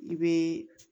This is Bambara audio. I bɛ